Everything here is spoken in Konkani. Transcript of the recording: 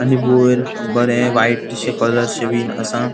आणि वयर बरे व्हाइटशे कलरशे बिन असा.